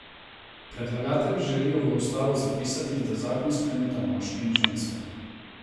Predlagatelji želijo v ustavo zapisati, da zakon skleneta moški in ženska.